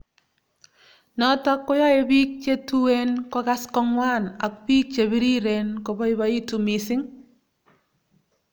Notok koyae piik che tuone kokas ko ngwan ak piik che piriren kobaibaitu mising'